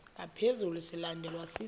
ngaphezu silandelwa sisi